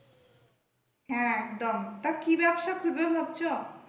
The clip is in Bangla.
হ্যাঁ একদম তা কি ব্যবসা খুলবে ভাবছো?